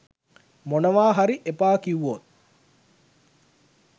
මොනවා හරි එපා කිව්වොත්